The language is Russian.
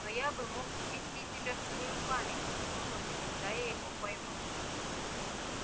но я бы мог ввести тебя в свою память на ту ночь когда я его поймал